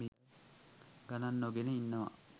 ගණන් නොගෙන ඉන්නවා